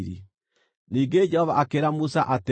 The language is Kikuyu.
Ningĩ Jehova akĩĩra Musa atĩrĩ,